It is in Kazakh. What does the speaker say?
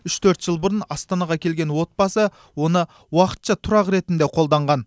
үш төрт жыл бұрын астанаға келген отбасы оны уақытша тұрақ ретінде қолданған